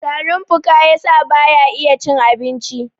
tarin fuka ya sa ba ya iya cin abinci!